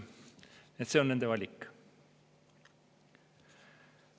See on nende valik.